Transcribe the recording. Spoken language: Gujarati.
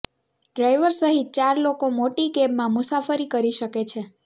ડ્રાઇવર સહિત ચાર લોકો મોટી કેબમાં મુસાફરી કરી શકે છે